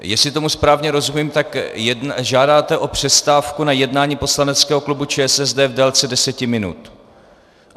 Jestli tomu správně rozumím, tak žádáte o přestávku na jednání poslaneckého klubu ČSSD v délce deseti minut.